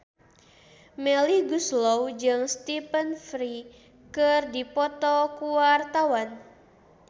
Melly Goeslaw jeung Stephen Fry keur dipoto ku wartawan